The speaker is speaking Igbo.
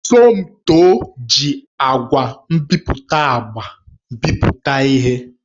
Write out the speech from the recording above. Somtoo ji ngwa nbipute agba bipụta ihe.